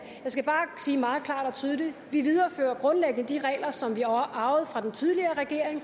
jeg skal bare sige meget klart og tydeligt vi viderefører grundlæggende de regler som vi arvede fra den tidligere regering